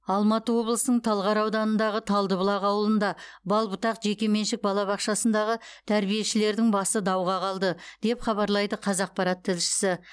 алматы облысының талғар ауданындағы талдыбұлақ ауылында бал бұтақ жекеменшік балабақшасындағы тәрбиешілердің басы дауға қалды деп хабарлайды қазақпарат тілшісі